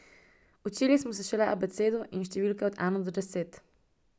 Učili smo se šele abecedo in številke od ena do deset.